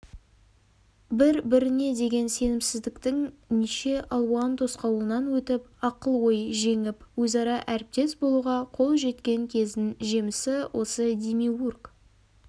бір-біріне деген сенімсіздіктің неше алуан тосқауылынан өтіп ақыл-ой жеңіп өзара әріптес болуға қол жеткен кездің жемісі осы демиург